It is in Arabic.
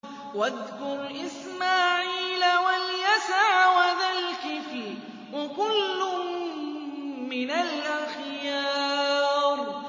وَاذْكُرْ إِسْمَاعِيلَ وَالْيَسَعَ وَذَا الْكِفْلِ ۖ وَكُلٌّ مِّنَ الْأَخْيَارِ